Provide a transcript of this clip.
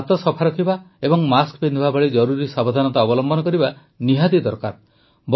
ଆମକୁ ହାତ ସଫା ରଖିବା ଓ ମାସ୍କ ପିନ୍ଧିବା ଭଳି ଜରୁରୀ ସାବଧାନତା ଅବଲମ୍ବନ କରିବା ନିହାତି ଦରକାର